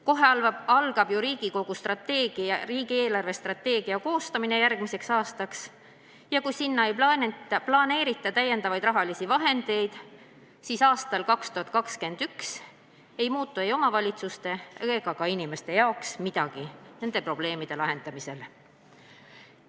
Kohe algab ju riigi eelarvestrateegia koostamine järgmiseks aastaks ja kui sinna ei planeerita täiendavaid rahalisi vahendeid, siis aastal 2021 ei muutu ei omavalitsuste ega ka inimeste jaoks nende probleemide lahendamisel midagi.